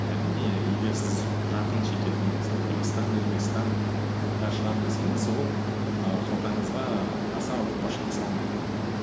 әрине егер сіз жақын шетелге мысалы қырғызстан өзбекстанға шығамын десеңіз ол ііі қалтаңызға аса ауыртпашылық салмайды